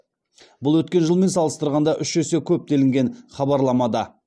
бұл өткен жылмен салыстырғанда үш есе көп делінген хабарламада